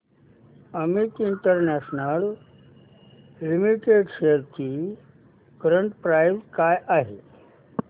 Amit international limited shares ची current price काय आहे